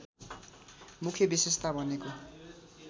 मुख्य विशेषता भनेको